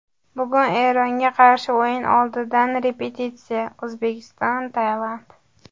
Bugun Eronga qarshi o‘yin oldidan repetitsiya: O‘zbekiston Tailand.